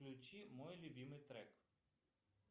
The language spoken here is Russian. включи мой любимый трек